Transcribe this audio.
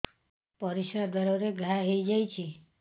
ପରିଶ୍ରା ଦ୍ୱାର ରେ ଘା ହେଇଯାଇଛି